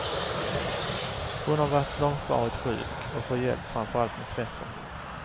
Hon har varit långvarigt sjuk och får hjälp framför allt med tvätten.